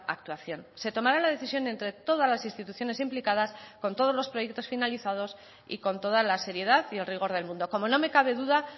actuación se tomará la decisión entre todas las instituciones implicadas con todos los proyectos finalizados y con toda la seriedad y el rigor del mundo como no me cabe duda